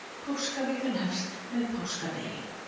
Páskavikan hefst með páskadegi.